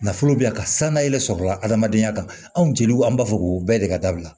Nafolo bɛ yan ka sangale sɔrɔla adamadenya kan anw jeliw an b'a fɔ k'o bɛɛ de ka dabila